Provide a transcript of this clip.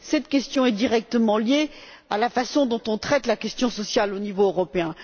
Cette question est directement liée à la façon dont on traite la question sociale au niveau européen.